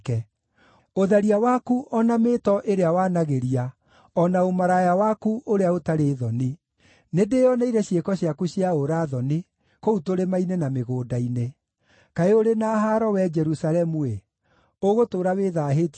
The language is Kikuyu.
ũtharia waku o na mĩĩto ĩrĩa wanagĩria, o na ũmaraya waku ũrĩa ũtarĩ thoni! Nĩndĩĩoneire ciĩko ciaku cia ũũra-thoni kũu tũrĩma-inĩ na mĩgũnda-inĩ. Kaĩ ũrĩ na haaro, wee Jerusalemu-ĩ! Ũgũtũũra wĩthaahĩtie nginya-rĩ?”